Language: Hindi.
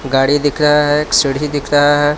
गाड़ी दिख रहा है एक सीढ़ी दिख रहा है.